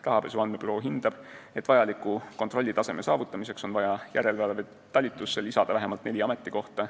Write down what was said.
Rahapesu andmebüroo hindab, et vajaliku kontrollitaseme saavutamiseks on vaja järelevalvetalitusse juurde vähemalt neli ametikohta.